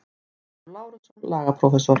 Ólafur Lárusson, lagaprófessor.